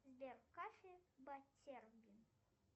сбер кафе баттербин